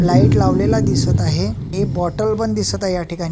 Light लावलेला दिसत आहे एक बॉटल पण दिसत आहे याठिकाणी.